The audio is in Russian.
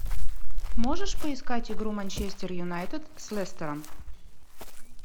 можешь поискать игру манчестер юнайтед с лестером